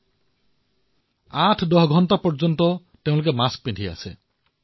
আঠআঠ দহদহ ঘণ্টা মাস্ক পৰিধান কৰে